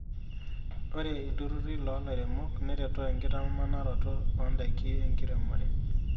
Ore ilturruri loo lairemok neretoo enkitamanaroto oondaiki enkiremore.